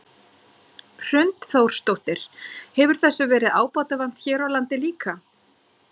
Hrund Þórsdóttir: Hefur þessu verið ábótavant hér á landi líka?